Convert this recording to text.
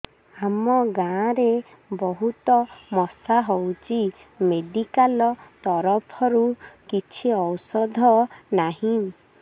ଆମ ଗାଁ ରେ ବହୁତ ମଶା ହଉଚି ମେଡିକାଲ ତରଫରୁ କିଛି ଔଷଧ ନାହିଁ